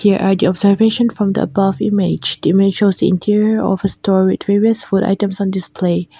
here are the observation from the above image the image shows the interior of a store with various food items on display.